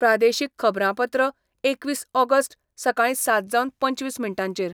प्रादेशीक खबरांपत्र एकवीस ऑगस्ट, सकाळी सात जावन पंचवीस मिनटांचेर